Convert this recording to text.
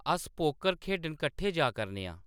अस पोकर खेढन कट्ठे जा करने आं